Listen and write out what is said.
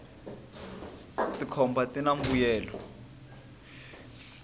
tikhomba tina mbuyelo